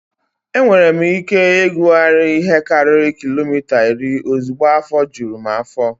Enwere m ike ịkụgharị ihe karịrị kilomita iri ozugbo afọ juru m afọ.